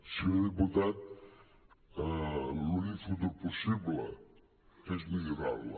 senyor diputat l’únic futur possible és millorar la